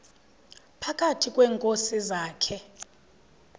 phakathi kweenkosi zakhe